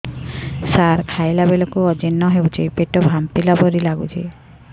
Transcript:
ସାର ଖାଇଲା ବେଳକୁ ଅଜିର୍ଣ ହେଉଛି ପେଟ ଫାମ୍ପିଲା ଭଳି ଲଗୁଛି